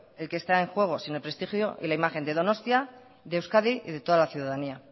el que está en juego sino el prestigio y la imagen de donostia de euskadi y de toda la ciudadanía